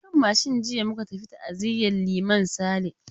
A kan mashin jiya muka tafi ta'aziyan Liman Sale.